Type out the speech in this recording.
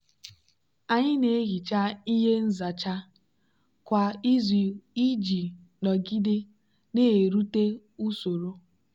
anyị na-ehicha ihe nzacha kwa izu iji nọgide na-erute usoro.